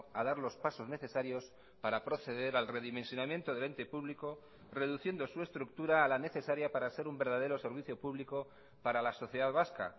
a dar los pasos necesarios para proceder al redimensionamiento del ente público reduciendo su estructura a la necesaria para ser un verdadero servicio público para la sociedad vasca